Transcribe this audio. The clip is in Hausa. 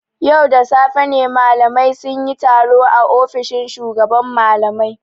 Yau da safe ne malamai sun yi taro a ofishin shugaban malamai.